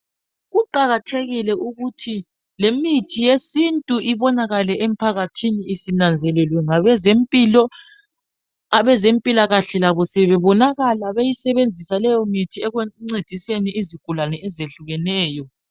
Kuqakathekile ukuthi lemithi yesintu ibonakale emphakathini isinanzelelwe ngabezempilo, abezempilakahle labo sebebonakala beyisebenzisa leyo mithi ekuncediseni izigulane ezehlukeneyo.